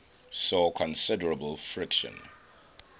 saw considerable friction